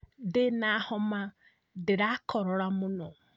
Ndĩna homa ndĩrakorora mũno